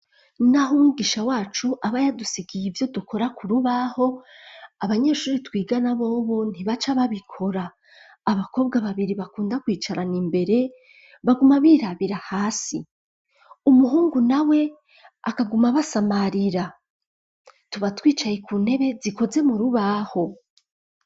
Naho umwisha wacu aba yadusigaye ivyo dukora ku rubaho, abanyeshuri twigana bobo ntibaca babikora. Abakobwa babiri bakunda kwicarana imbere baguma birabira hasi, umuhungu nawe akaguma basamarira. Tuba twicaye ku ntebe zikoze mu rubaho.